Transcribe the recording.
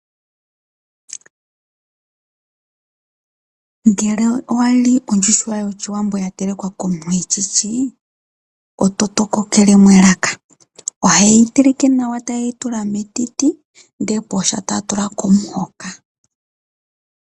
Ngele owa li ondjuhwa yoshiwambo ya telekwa komuntu e shishi, oto tokokelemo elaka. Oheyi teleke nawa, e tayi tulwa metiti ndele pooha ta tula po omuhoka.